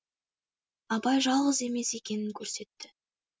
абай жалғыз емес екенін көрсетті